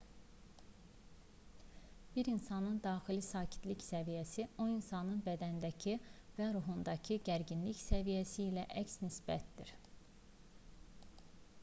bir insanın daxili sakitlik səviyyəsi o insanın bədənindəki və ruhundakı gərginlik səviyyəsi ilə əks nisbətdədir